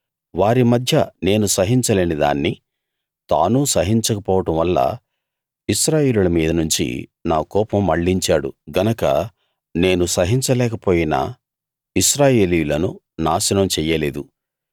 వారి మధ్య నేను సహించలేనిదాన్ని తానూ సహించకపోవడం వల్ల ఇశ్రాయేలీయుల మీద నుంచి నా కోపం మళ్ళించాడు గనక నేను సహించలేకపోయినా ఇశ్రాయేలీయులను నాశనం చెయ్యలేదు